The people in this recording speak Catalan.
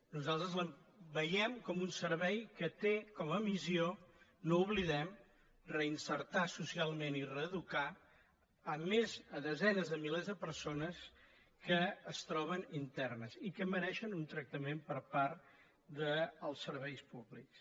nosal·tres el veiem com un servei que té com a missió no ho oblidem reinserir socialment i reeducar desenes de mi·lers de persones que es troben internes i que mereixen un tractament per part dels serveis públics